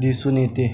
दिसून येते